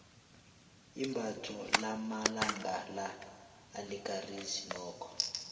imbatho lamalanga la alikarisi nokho